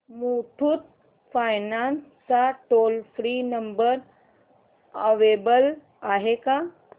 Muthoot finance चा toll free number available आहे का